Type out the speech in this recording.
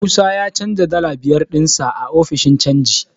Musa ya canja dala biyar ɗinsa a ofishin canji.